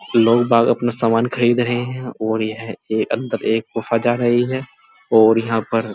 लोग बाग अपना सामान खरीद रहे हैं और यह एक अंदर एक गुफा जा रही है और यहाँ पर --